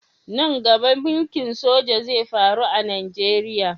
Nan gaba mulki'n soja zai faru a'Nijeriya.